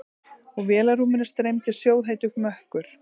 Úr vélarrúminu streymdi sjóðheitur mökkur.